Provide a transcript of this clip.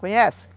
Conhece?